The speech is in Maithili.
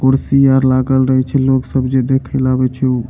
कुर्सी आर लागल रही छे लोग सब जे देखे ला आव छे उ --